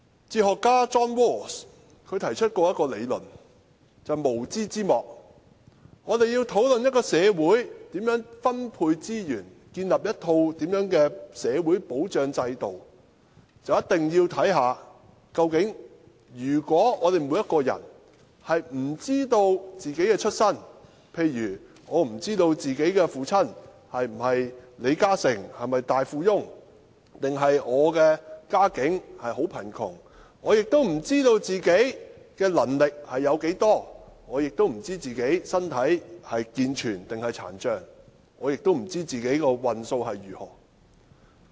哲學家 John RAWLS 曾提出名為"無知之幕"的理論，指出當我們要討論應如何分配社會資源和建立一套社會保障制度時，便一定要看看我們每個人是否知道自己的出身，例如有些人不知道自己的父親是否李嘉誠或大富翁還是家境貧窮、自己的能力如何、自己的身體是健全還是殘障，又或自己的運數如何。